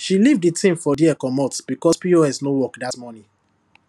she leave the things for there comot because pos no work dat morning